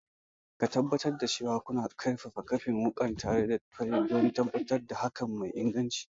Tabbatar cewa kuna kaifafa kaifin wukarku tare da fayil don tabbatar da haƙa mai inganci.